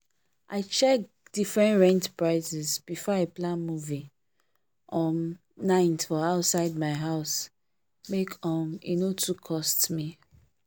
i check different rent prices before i plan movie um night for outside my house make um e no too cost me.